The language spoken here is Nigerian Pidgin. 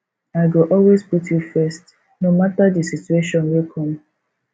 i go always put you first no mata di situation wey come